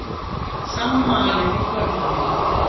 Sama malið í tölvunni.